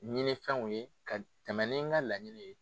Ɲinifɛnw ye ka tɛmɛn ni n ka laɲini ye.